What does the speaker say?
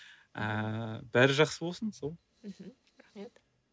ыыы бәрі жақсы болсын сол мхм рахмет